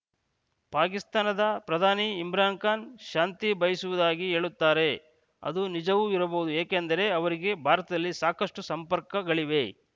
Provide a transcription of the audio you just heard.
ಪಾಕಿಸ್ತಾನದ ಪ್ರಧಾನಿ ಇಮ್ರಾನ್‌ ಖಾನ್‌ ಶಾಂತಿ ಬಯಸುವುದಾಗಿ ಹೇಳುತ್ತಾರೆ ಅದು ನಿಜವೂ ಇರಬಹುದು ಏಕೆಂದರೆ ಅವರಿಗೆ ಭಾರತದಲ್ಲಿ ಸಾಕಷ್ಟುಸಂಪರ್ಕಗಳಿವೆ